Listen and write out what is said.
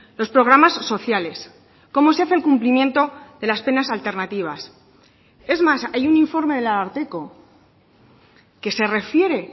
los programas sociales cómo se hace el cumplimiento de las penas alternativas es más hay un informe del ararteko que se refiere